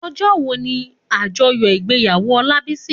Òjò wó ni ájòyò igbéyàwó Olabisi?